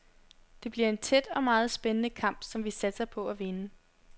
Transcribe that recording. Det bliver en tæt og meget spændende kamp, som vi satser på at vinde.